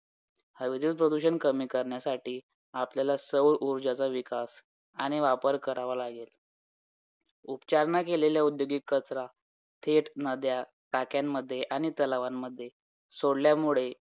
म्हणजे जे पण येणार आहेत कलम पासून काही नवीन आलाय सगळा लक्ष्मीकांत मधूनच येणार आहे तर काही हलगर्जीपणा न करता लक्ष्मीकांत पूर्णपणे वाचायचं आहे आणि त्याची size ही बागयच नाही आणि मला ते किती मोठा आहे काय आहे